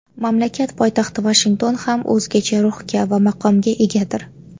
Mamlakat poytaxti Vashington ham o‘zgacha ruhga va maqomga egadir.